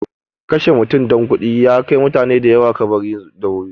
Kashe mutum don kuɗi ya kai mutane da yawa kabari da wuri.